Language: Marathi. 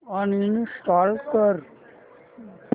अनइंस्टॉल कर